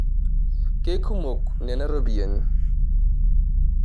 Kekumok nena ropiyani.